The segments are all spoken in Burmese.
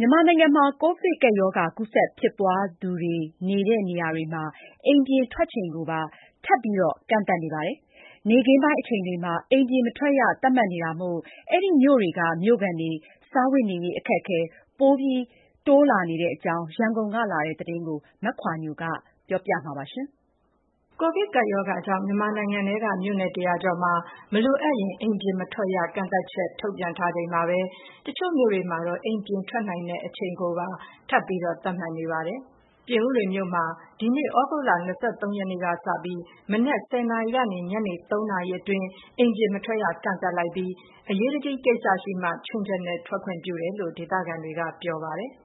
မြန်မာနိုင်ငံမှာ ကိုဗစ်ကပ်ရောဂါ ကူးစက်ဖြစ်ပွားသူများနေတဲ့ နေရာတွေမှာ အိမ်ပြင်ထွက်ချိန်ကိုပါ ထပ်မံကန့်သတ်နေပါတယ်။ နေ့ခင်းပိုင်းအချိန်တွေမှာ အိမ်ပြင်မထွက်ရ သတ်မှတ်နေတာမို့ အဲဒီမြို့တွေက မြို့ခံတွေ စားဝတ်နေရေး အခက်အခဲ ပိုလာတဲ့အကြောင်း ရန်ကုန်ကလာတဲ့သတင်းကို မခွါညို ကပြောပြပါမယ်။ ကိုဗစ်ကပ်ရောဂါကြောင့် မြန်မာနိုင်ငံထဲက မြို့နယ် ၁၀၀ ကျော်မှာ မလိုအပ်ရင် အိမ်ပြင်မထွက်ရ ကန့်သတ်ချက်ထုတ်ပြန်ထားချိန်မှာပဲ တချို့ မြို့တွေမှာ အိမ်ပြင်ထွက်နိုင်တဲ့ အချိန်ကိုပါ ထပ်ပြီး သတ်မှတ်နေပါတယ်။ ပြင်ဦးလွင်မြို့မှာ ဒီနေ့သြဂုတ်လ ၂၃ ရက်နေ့က စပြီး မနက် ၁၀ နာရီကနေ ညနေ ၃ နာရီအတွင်း အိမ်ပြင်မထွက်ရ ကန့်သတ်လိုက်ပြီး အရေးတကြီးကိစ္စရှိမှ ခြွင်းချက်နဲ့ ထွက်ခွင့်ပြုတယ်လို့ ဒေသခံတွေက ပြောပြပါတယ်။ "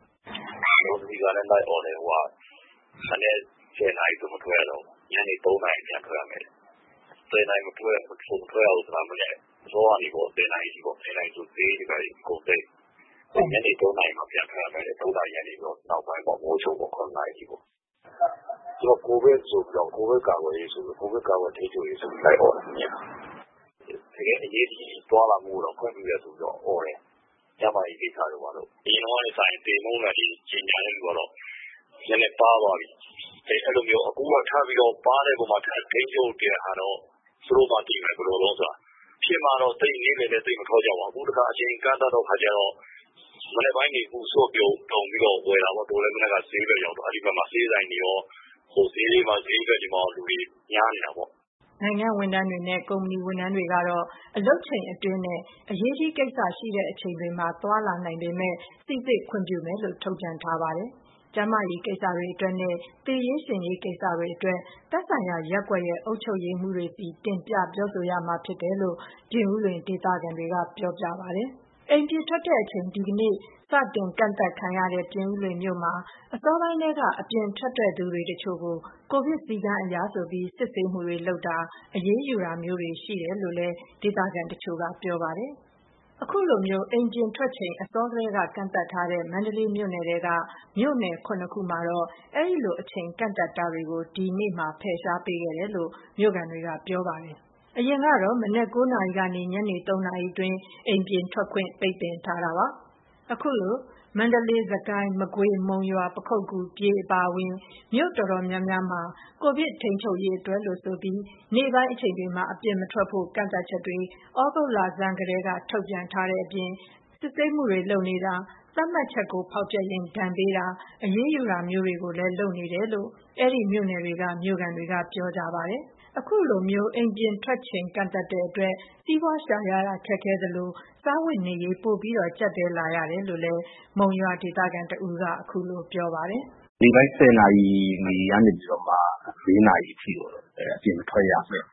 လော်နဲ့လိုက်အော်တယ်။ မနက် ၁၀နာရီဆိုမထွက်ရတော့ဘူး။ ညနေ ၃နာရီပြန်ထွက်ရမယ်။ ၁၀နာရီ မထွက်ရတာက မနက်အစောကနေ ၁၀နာရီထိပေါ့။ ၁၀နာရီဆိုဈေးတွေဘာတွေ အကုန်သိမ်း။ ပြီးရင် ညနေ ၃နာရီကနေ ည၇နာရီအထိပေါ့။ သူတို့ကတော့ကိုဗစ်ကာကွယ်ထိန်းချုပ်ရေးဆိုပြီးလိုက်အော် တာညကလေ။ တကယ့် အရေးတကြီးသွားလာမှု ခွင့်ပြုတယ်လို့တော့အော်တယ်။အရင်တုန်းကထက် စာရင်သေနှုန်းကနည်းနည်းပါးသွားပြီ။ အခုပါးတော့မှထပ်ထိန်းချုပ်တာတော့ သူတို့မှသိမယ် ဘယ်လို တုန်းဆိုတာ။ ဖြစ်မှတော့နေ့လည်လည်းသိပ်မထွက်ကြပါဘူး. အခုအချိန်ကန့်သတ်တဲ့ အခါကျတော့ မနက်ပိုင်းစုပြုံဝယ်တာပေါ့ တို့လည်းအဲဘက်ရောက်တော့ ဈေးဘက်တွေလူတွေကများနေတာပေါ့။ " နိုင်ငံ့ဝန်ထမ်းတွေနဲ့ ကုမ္ပဏီဝန်ထမ်းတွေကတော့ အလုပ်အချိန်အတွင်းနဲ့ အရေးကြီးကိစ္စ ရှိချိန် တွေမှာသွားလာနိုင်မှာဖြစ်ပေမယ့် စိစစ်ခွင့်ပြုမယ်လို့ ထုတ်ပြန်ထားပါတယ်။ ကျန်းမာရေးကိစ္စတွေ အတွက်နဲ့ သေရေးရှင်ရေးကိစ္စတွေအတွက် သက်ဆိုင်ရာရပ်ကွက်ရဲ့ အုပ်ချုပ်ရေးမှုးတွေဆီတင်ပြ ပြောဆိုရမှာဖြစ်တယ်လို့ ပြင်ဦးလွင် ဒေသခံတွေက ပြောပြပါတယ်။ အိမ်ပြင်ထွက်ချိန် ဒီနေ့ စတင်ကန့်သတ်ခံရတဲ့ ပြင်ဦးလွင်မြို့မှာ အစောပိုင်းထဲက အပြင်ထွက်တဲ့သူတွေတချို့ကို ကိုဗစ်စည်းကမ်းအရဆိုပြီး စစ်ဆေးမှုတွေ လုပ်တာ အရေးယူတာမျိုး လုပ်တာရှိတယ်လို့လည်း ဒေသခံတချို့က ပြောပါတယ်။ အခုလို အိမ်ပြင်ထွက်ချိန် အစောထဲက ကန့်သတ်ထားတဲ့ မန္တလေးမြို့ထဲက မြို့နယ် ၇ ခုမှာတော့ အဲဒီလို အချိန်ကန့်သတ်တာတွေကို ဒီနေ့မှာ ဖယ်ရှားပေးခဲ့တယ်လို့ မြို့ခံတွေက ပြောပါတယ်။ အရင်ကတော့ ၉ နာရီကနေ ညနေ ၃ နာရီအတွင်း အိမ်ပြင်ထွက်ခွင့် ပိတ်ပင်ထားတာပါ။ ခုလို မန္တလေး၊ စစ်ကိုင်း၊ မကွေး၊ မုံရွာ၊ ပခုက္ကူ၊ ပြည် အပါအဝင် မြို့တော်တော်များများမှာ ကိုဗစ်ထိန်းချုပ်ရေးအတွက်လို့ဆိုပြီး နေ့ပိုင်းအချိန်တွေမှာ အပြင်မထွက်ဖို့ ကန့်သတ်ချက်တွေ သြဂုတ်လဆန်းထဲက ထုတ်ထားတဲ့အပြင် စစ်ဆေးမှုတွေပြုလုပ်တာ၊ သတ်မှတ်ချက်ကိုဖောက်ဖျက်ရင် ဒဏ်ပေးတာ၊ အရေးယူတာမျိုးတွေကို လုပ်နေတယ်လို့ အဲဒီမြို့နယ်တွေက မြို့ခံတွေကပြောပါတယ်။ ခုလိုအိမ်ပြင်ထွက်ချိန် ကန့်သတ်တဲ့အတွက် စီးပွားရှာရခက်ခဲသလို စားဝတ်နေရေးပိုကျပ်တည်းမှုတွေဖြစ်လာနေရတယ်လို့ မုံရွာဒေသခံ တဦးကခုလိုပြောပါတယ်။ "နေ့ပိုင်း ၁၀နာရီကနေ၄နာရီအထိတော့ အပြင်မထွက်ရအမိန့်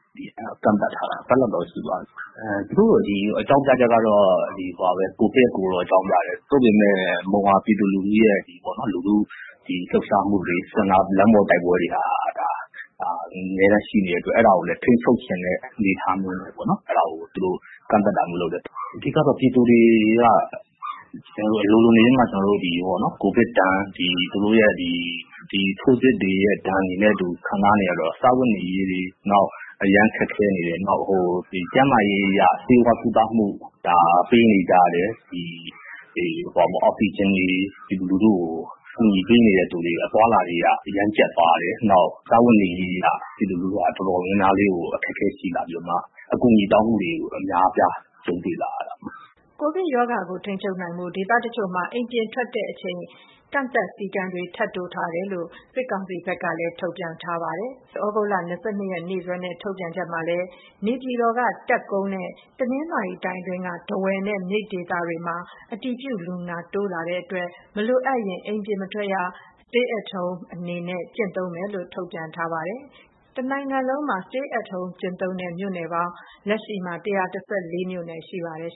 ထုတ်ထားတယ်။ တပါတ်လောက်တော့ ရှိသွားပြီ။ သူတို့အကြောင်းပြချက်ကတော့ ကိုဗစ်ကိုတော့ အကြောင်းပြတယ်။ ဒါပေမယ့် မုံရွာပြည်သူ တွေရဲ့ လှုပ်ရှားမှု တွေလမ်းပေါ်တိုက်ပွဲတွေ အမြဲရှိနေတော့ဒါတွေကိုထိန်းချုပ်ချင်တာလဲပါမယ်။ အဓိကကတော့ ပြည်သူတွေ အလိုလိုနေရင်းမှကိုဗစ်ဒဏ် သူတို့ရဲ့ထိုးစစ်တွေရဲ့ ဒဏ်တွေနဲ့အတူ ခံစားနေရတော့စားဝတ်နေရေးတွေ အရမ်းခက်ခဲနေတယ်။ ကျန်းမာရေးအရ ဆေးဝါးကုသမှုလိုအပ်တာတွေ အောက်ဆီဂျင်ယူရတာတွေလည်း ခက်ခဲနေတယ်။ ပြည်သူကို ကူညီပေးနေတာတွေလည်း ခက်ခဲလာတာပေါ့. စားဝတ်နေရေးခက်ခဲလာကြတော့ အကူပညီတွေပိုတောင်းခံလာရတဲ့ အခြေအနေဖြစ်နေတယ်။" ကိုဗစ်ကပ်ရောဂါကို ထိန်းချုပ်နိုင်ဖို့ ဒေသအချို့မှာအိမ်ပြင်ထွက်ချိန် ကန့်သတ်မှုတွေထပ်တိုး လုပ်ဆောင်နေတယ်လို့ စစ်ကောင်စီဘက်က ထုတ်ပြန်ထားပါတယ်။ မနေ့က သြဂုတ်လ ၂၂ ရက် ရက်စွဲနဲ့ ထုတ်ပြန်ချက်မှာလည်း နေပြည်တော်က တပ်ကုန်းနဲ့ တနင်္သာရီတိုင်းအတွင်းက ထားဝယ်နဲ့ မြိတ်ဒေသတွေမှာ အတည်ပြုလူနာတိုးလာတဲ့အတွက် မလိုအပ်ရင် အိမ်ပြင်မထွက်ရ stay at home အနေနဲ့ ကျင့်သုံးမယ်လို့ ထုတ်ပြန်ထားပါတယ်။ တနိုင်ငံလုံးမှာ stay at home ကျင့်သုံးတဲ့ မြို့နယ်ပေါင်း လက်ရှိ ၁၁၄ မြို့နယ်ရှိပါတယ်